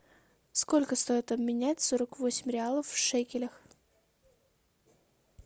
сколько стоит обменять сорок восемь реалов в шекелях